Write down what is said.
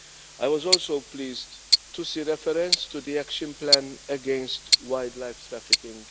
I was also pleased to see reference to the Action Plan against Wildlife Trafficking.